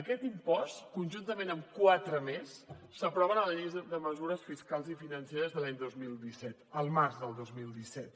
aquest impost conjuntament amb quatre més s’aproven a la llei de mesures fiscals i financeres de l’any dos mil disset el març del dos mil disset